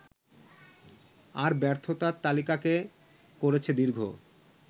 আর ব্যর্থতার তালিকাকে করেছে দীর্ঘ